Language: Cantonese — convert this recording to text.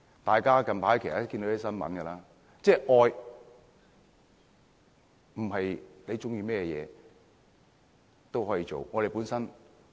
大家近來都看到一些新聞，愛不代表喜歡甚麼都可以做。